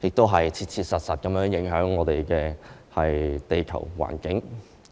的，亦切切實實影響我們的地球環境。